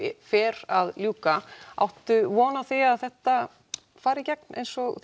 fer að ljúka áttu von á því að þetta fari í gegn eins og